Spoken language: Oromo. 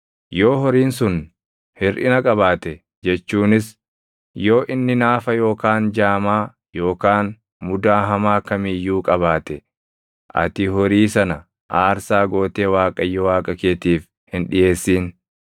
Yoo horiin sun hirʼina qabaate jechuunis yoo inni naafa yookaan jaamaa yookaan mudaa hamaa kam iyyuu qabaate, ati horii sana aarsaa gootee Waaqayyo Waaqa keetiif hin dhiʼeessin.